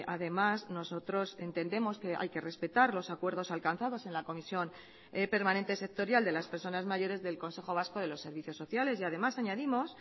además nosotros entendemos que hay que respetar los acuerdos alcanzados en la comisión permanente sectorial de las personas mayores del consejo vasco de los servicios sociales y además añadimos